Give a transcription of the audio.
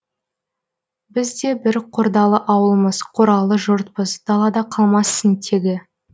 біз де бір қордалы ауылмыз қоралы жұртпыз далада қалмассың тегі